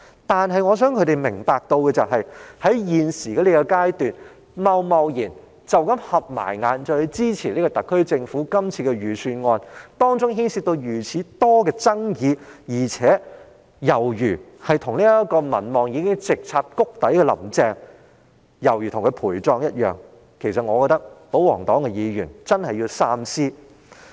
然而，我希望他們明白，在目前的階段貿然閉上眼睛支持特區政府這份牽涉眾多爭議的預算案，猶如為民望直插谷底的"林鄭"陪葬，我認為保皇黨議員真的必須三思。